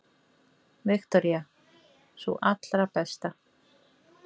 Viktoría: Sú allra besta?